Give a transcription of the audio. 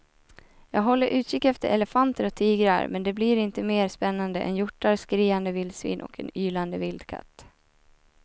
Jag håller utkik efter elefanter och tigrar men det blir inte mer spännande än hjortar, skriande vildsvin och en ylande vildkatt.